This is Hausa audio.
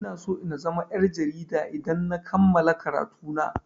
Ina so na zama yar' jarida idan na kammala karatu na.